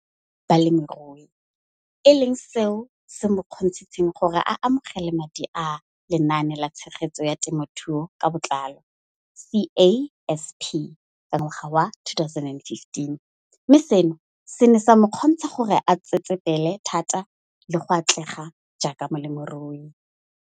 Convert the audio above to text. Balemirui e leng seo se mo kgontshitseng gore a amogele madithuso a Lenaane la Tshegetso ya Te mothuo ka Botlalo, CASP] ka ngwaga wa 2015, mme seno se ne sa mo kgontsha gore a tsetsepele thata le go atlega jaaka molemirui.